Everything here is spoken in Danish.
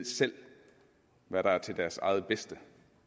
hvad der er til deres eget bedste